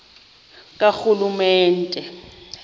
karhulumente